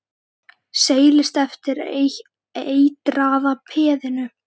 Seilist eftir eitraða peðinu.